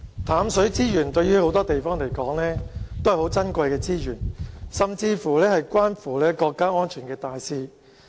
淡水資源對很多地方來說，都是很珍貴的資源，甚至是關乎國家安全的大事。